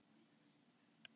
Rósa Rún